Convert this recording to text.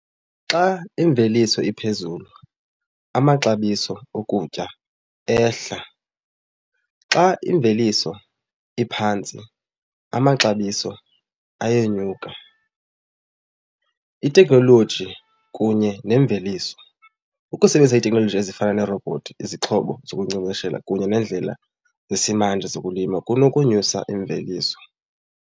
Xa imveliso iphezulu, amaxabiso okutya ayehla. Xa imveliso iphantsi, amaxabiso ayenyuka. Itekhnoloji kunye nemveliso, ukusebenzisa iitekhnoloji ezifana neerobhothi, izixhobo zokunkcenkceshela kunye neendlela zesimanje zokulima kunokunyusa imveliso.